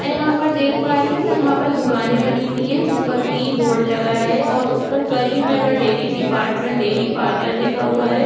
में यहाँ पर देख पा रही हु यहाँ पर दुकाने बानी हुई है जिस पर की बोर्ड लगाया गया है और Karimnagar dairy department dairy parlour लिखा हुआ है।